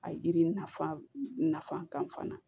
A yiri nafa nafa kan fana